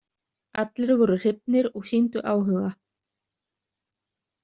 Allir voru hrifnir og sýndu áhuga.